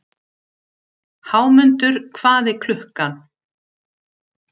Hámundur, hvað er klukkan?